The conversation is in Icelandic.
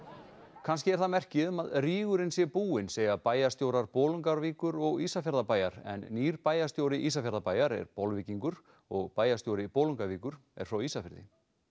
kannski er það merki um að rígurinn sé búinn segja bæjarstjórar Bolungarvíkur og Ísafjarðarbæjar en nýr bæjarstjóri Ísafjarðarbæjar er Bolvíkingur og bæjarstjóri Bolungarvíkur er frá Ísafirði